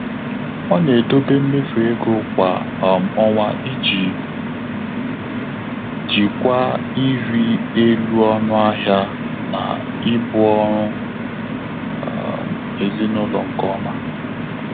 Ọ́ nà-édòbé mméfù égo kwá um ọ́nwá ìjí jíkwáá ị́rị́ élú ọnụ́ áhị́à nà íbù ọ́rụ́ um èzínụ́lọ́ nké ọ́mà.